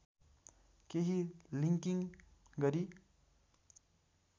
केही लिङ्किङ गरी